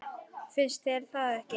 Finnst þér það ekki?